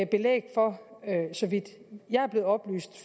belæg for så vidt jeg er blevet oplyst